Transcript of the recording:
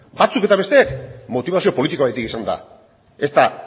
batzuk eta besteak motibazio politikoagatik izan da ez da